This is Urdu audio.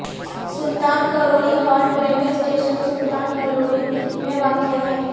سلطان Karori halt railway station Sultan Karori میں واقع ہے